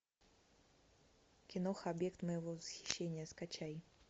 киноха объект моего восхищения скачай